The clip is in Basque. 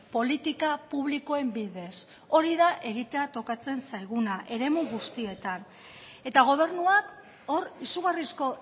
politika publikoen bidez hori da egitea tokatzen zaiguna eremu guztietan eta gobernuak hor izugarrizko